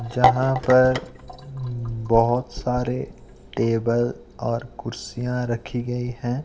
जहां पर बहोत सारे बहोत सारे टेबल और कुर्सियां रखी गई हैं।